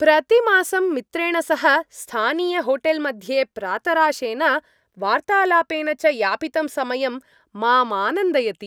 प्रतिमासं मित्रेण सह स्थानीयहोटेल् मध्ये प्रातराशेन वार्तालापेन च यापितं समयं माम् आनन्दयति।